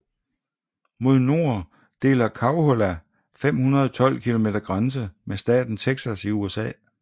Mod nord deler Coahuila 512 km grænse med staten Texas i USA